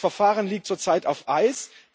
Das Verfahren liegt zurzeit auf Eis.